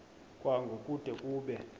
kwango kude kube